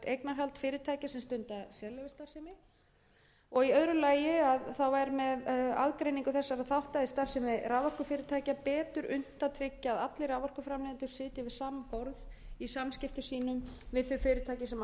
eignarhald fyrirtækja sem stunda sérleyfisstarfsemi og í öðru lagi að það væri með aðgreiningu þessara þátta í starfsemi raforkufyrirtækja betur unnt að tryggja að allir orkuframleiðendur sitji við sama borð í samskiptum sínum við þau fyrirtæki sem